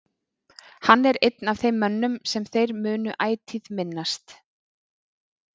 Hann er einn af þeim mönnum sem þeir munu ætíð minnast.